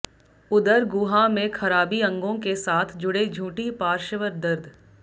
उदर गुहा में खराबी अंगों के साथ जुड़े झूठी पार्श्व दर्द